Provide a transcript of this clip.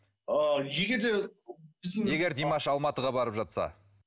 ы егер де егер димаш алматыға барып жатса